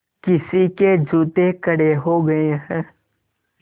किसी के जूते कड़े हो गए हैं